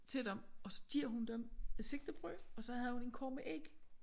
Til dem og så giver hun dem et sigtebrød og så havde hun en kurv med æg